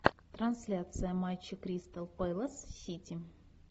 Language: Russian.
трансляция матча кристал пэлас сити